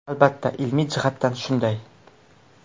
Albatta ilmiy jihatdan shunday.